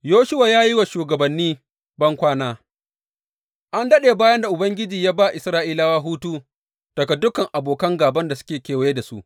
Yoshuwa ya yi wa shugabanni bankwana An daɗe bayan da Ubangiji ya ba Isra’ilawa hutu daga dukan abokan gāban da suke kewaye da su.